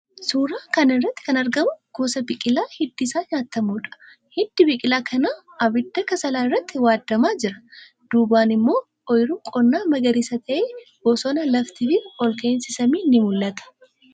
Suuraa kana irratti kan argamu gosa biqilaa hiddi isaa nyaatamuudha. Hiddi biqilaa kanaa abidda kasalaa irratti waadamaa jira. Duubaan immoo oyiruun qonnaa magariisa ta'e, bosona, lafti ol ka'aafi samiin ni mul'ata.